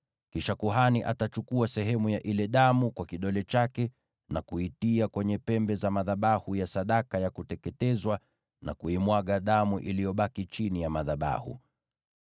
Kisha kuhani atachukua sehemu ya ile damu kwa kidole chake na kuitia kwenye pembe za madhabahu ya sadaka ya kuteketezwa na kuimwaga damu iliyobaki chini ya madhabahu.